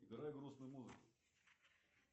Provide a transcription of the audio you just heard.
играй грустную музыку